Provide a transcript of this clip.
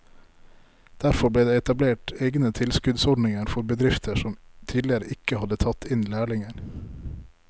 Derfor ble det etablert egne tilskuddsordninger for bedrifter som tidligere ikke hadde tatt inn lærlinger.